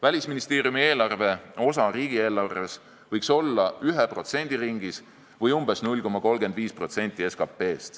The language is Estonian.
Välisministeeriumi eelarve osa riigieelarves võiks olla 1% ringis või umbes 0,35% SKP-st.